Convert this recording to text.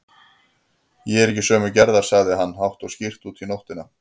Ég er ekki sömu gerðar, sagði hann hátt og skýrt út í nóttina.